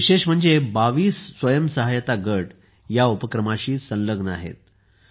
विशेष म्हणजे 22 स्वयंसहायता गट या उपक्रमाशी संलग्न आहेत